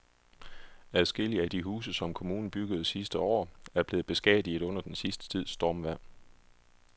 Adskillige af de huse, som kommunen byggede sidste år, er blevet beskadiget under den sidste tids stormvejr.